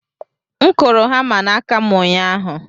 M kụrụ hama n'aka m ụnyahụ